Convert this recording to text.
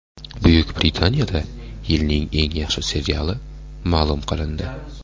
Buyuk Britaniyada yilning eng yaxshi seriali ma’lum qilindi.